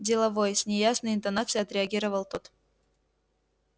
деловой с неясной интонацией отреагировал тот